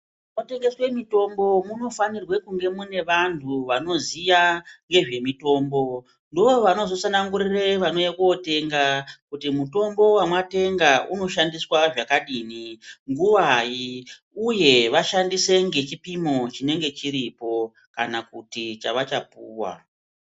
MunoTengeswe mutombo munofanirwe kunge mune vanhu vanoziya ngezvemutombo ndovanozotsanangurire vanouye kotenga kuti mutombo wamwatenga unoshandiswe zvakadini nguwai uye vashandise ngechipimo chinenge chiripo kana kuti chavachapuwa.